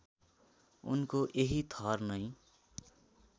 उनको यही थर नै